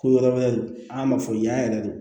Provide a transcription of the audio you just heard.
Ko yɔrɔ wɛrɛ don an b'a fɔ yan yɛrɛ de